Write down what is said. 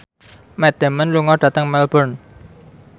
Matt Damon lunga dhateng Melbourne